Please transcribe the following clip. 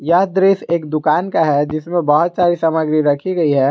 यह दृश्य एक दुकान का है जिसमें बहुत सारे सामान भी रखी गई है।